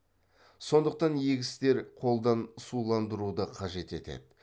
сондықтан егістер қолдан суландыруды қажет етеді